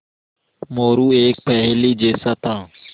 मोरू एक पहेली जैसा था